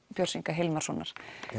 Björns Inga Hilmarssonar